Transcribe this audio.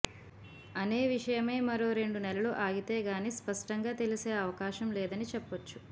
అనే విషయమై మరో రెండు నెలలు ఆగితే కాని స్పష్టంగా తెలిసే అవకాశం లేదని చెప్పొచ్చు